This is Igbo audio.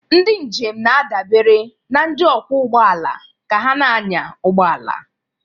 Ndị njem na-adabere na ndị ọkwọ ụgbọala ka ha na-anya ụgbọ ala.